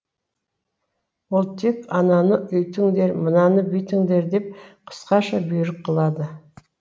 ол тек ананы үйтіңдер мынаны бүйтіңдер деп қысқаша бұйрық қылады